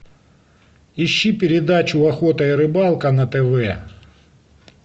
ищи передачу охота и рыбалка на тв